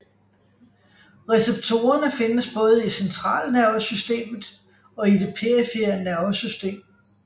Receptorerne findes både i centralnervesystemet og i det perifere nervesystem